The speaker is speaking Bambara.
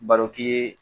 Baroki ye